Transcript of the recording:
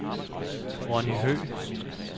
Ronny Høegh